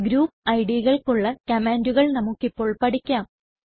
group Idകൾക്കുള്ള കമാൻണ്ടുകൾ നമുക്കിപ്പോൾ പഠിക്കാം